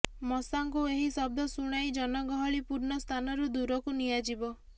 ମଶାଙ୍କୁ ଏହି ଶବ୍ଦ ଶୁଣାଇ ଜନଗହଳିପୂର୍ଣ୍ଣ ସ୍ଥାନରୁ ଦୂରକୁ ନିଆଯିବ